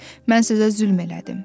Mən sizə zülm elədim.